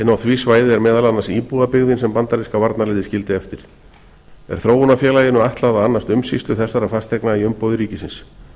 því svæði er meðal annars íbúðabyggðin sem bandaríska varnarliðið skildi eftir er þróunarfélaginu ætlað að annast umsýslu þessara fasteigna í umboði ríkisins